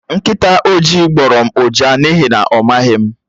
Nkịta oji gbórọ́ m ụja n'ihi na ọ maghị m